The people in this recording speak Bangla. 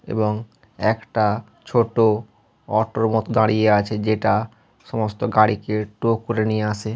এবং একটা ছোট অটোর মতো দাঁড়িয়ে আছেযেটা সমস্ত গাড়িকে টো করে নিয়ে আসে।